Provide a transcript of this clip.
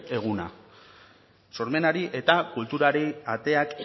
eguna sormenari eta kulturari ateak